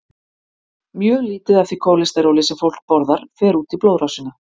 Mjög lítið af því kólesteróli sem fólk borðar fer út í blóðrásina.